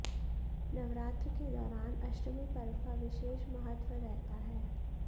नवरात्र के दौरान अष्टमी पर्व का विशेष महत्त्व रहता है